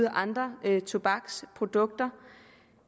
af andre tobaksprodukter